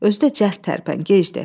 Özü də cəld tərpən, gecdir.